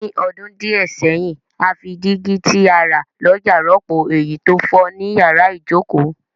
Ní odún díẹ̀ sẹ́hìn, a fi dígí ti a rà lójà rọ́pò èyí to fo ni yàrá ìjoko